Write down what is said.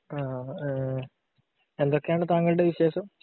എഹ് എന്തൊക്കെയാണ് താങ്കളുടെ വിശേഷം?